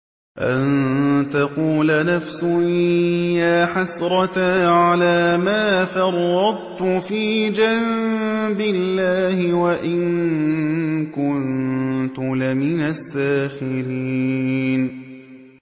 أَن تَقُولَ نَفْسٌ يَا حَسْرَتَا عَلَىٰ مَا فَرَّطتُ فِي جَنبِ اللَّهِ وَإِن كُنتُ لَمِنَ السَّاخِرِينَ